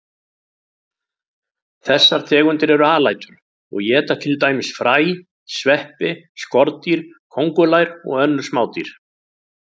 Þessar tegundir eru alætur og éta til dæmis fræ, sveppi, skordýr, kóngulær og önnur smádýr.